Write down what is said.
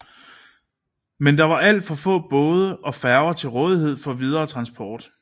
Men der var det alt for få både og færger til rådighed for videre transport